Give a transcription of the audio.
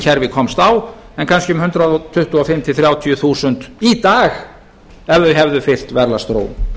kerfi komst á en kannski um hundrað tuttugu og fimm til hundrað þrjátíu þúsund í dag ef þau hefðu fylgt verðlagsþróun